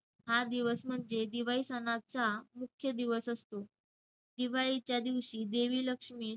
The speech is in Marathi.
हा दिवस म्हणजे दिवाळी सणाचा मुख्य दिवस असतो. दिवाळीच्या दिवशी देवी लक्ष्मी,